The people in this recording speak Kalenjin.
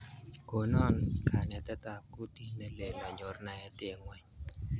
Konon kanetet ap kutit ne lel anyor naet eng' ng'ony